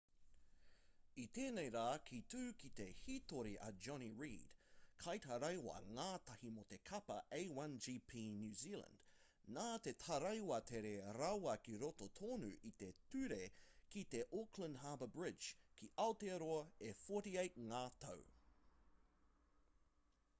i tēnei rā ka tū ki te hītori a jonny reid kaitaraiwa-ngātahi mō te kapa a1gp new zealand nā te taraiwa tere rawa ki roto tonu i te ture ki te auckland harbour bridge ki aotearoa e 48 ngā tau